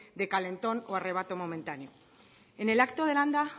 de calentón o arrebato momentáneo en el acto de landa